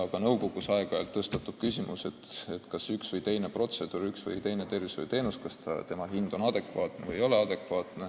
Ka nõukogus tõstatub aeg-ajalt küsimus, kas ühe või teise protseduuri, ühe või teise tervishoiuteenuse hind on adekvaatne või ei ole.